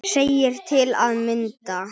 segir til að mynda